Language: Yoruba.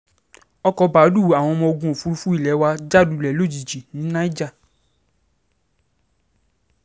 ọkọ̀ báàlúù àwọn ọmọ ogun òfurufú ilé wa já lulẹ̀ lójijì ní niger